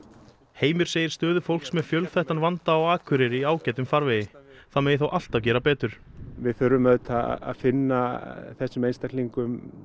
Heimir segir stöðu fólks með fjölþættan vanda á Akureyri í ágætum farvegi það megi þó alltaf gera betur við þurfum auðvitað að finna þessum einstaklingum